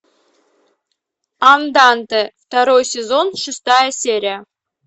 анданте второй сезон шестая серия